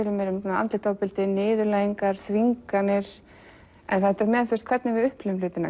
andlegt ofbeldi niðurlæging þvinganir en líka hvernig við upplifum hlutina